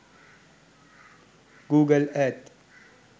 google earth